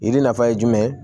Yiri nafa ye jumɛn ye